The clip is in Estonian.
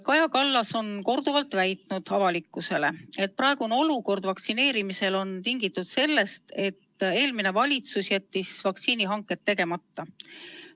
Kaja Kallas on korduvalt väitnud avalikkusele, et praegune vaktsineerimise olukord on tingitud sellest, et eelmine valitsus jättis vaktsiinihanked tegemata.